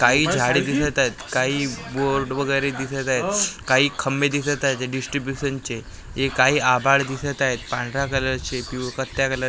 काही झाडं दिसत आहेत काही बोर्ड वगेरे दिसत आहेत काही खंबे दिसत आहेत जे डीस्ट्रीब्युशनचे हे काही आभाळ दिसत आहेत पांढऱ्या कलरचे पी पत्त्या कलरचे --